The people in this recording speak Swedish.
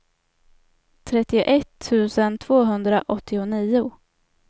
trettioett tusen tvåhundraåttionio